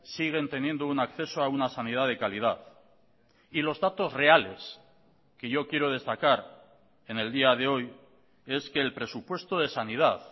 siguen teniendo un acceso a una sanidad de calidad y los datos reales que yo quiero destacar en el día de hoy es que el presupuesto de sanidad